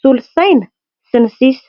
solosaina sy ny sisa.